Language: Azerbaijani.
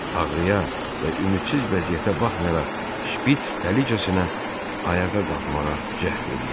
Ağrıya və ümidsiz vəziyyətinə baxmayaraq şpits tələsicəsinə ayağa qalxmağa cəhd eləyirdi.